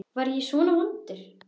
Var ég svona vondur?